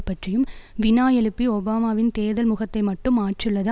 பற்றியும் வினா எழுப்பி ஒபாமாவின் தேர்தல் முகத்தைமட்டும் மாற்றியுள்ளது